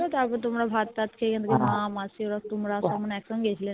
তারপর তোমরা ভাত তাত খেয়ে এখান থেকে মা মাসি মিলে তোমরা সব মানে একসঙ্গে